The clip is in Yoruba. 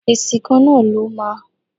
Èsì kan náà ló máa.